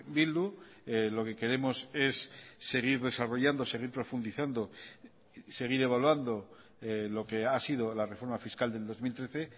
bildu lo que queremos es seguir desarrollando seguir profundizando seguir evaluando lo que ha sido la reforma fiscal del dos mil trece